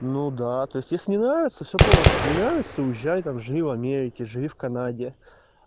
ну да то здесь не нравится все просто не нравится уезжай там живи в америке живи в канаде